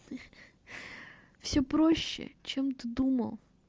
все проще чем ты думал